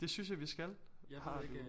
Det synes jeg vi skal har du